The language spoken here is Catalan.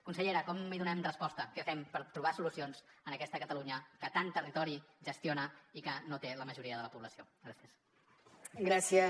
consellera com hi donem resposta què fem per trobar solucions en aquesta catalunya que tant territori gestiona i que no té la majoria de la població gràcies